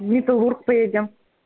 в металлург поедем